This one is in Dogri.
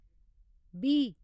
बीह्